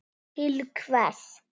Til hvers?